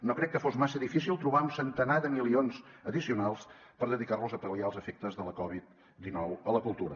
no crec que fos massa difícil trobar un centenar de milions addicionals per dedicar los a pal·liar els efectes de la covid dinou a la cultura